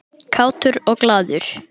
Kátur og glaður.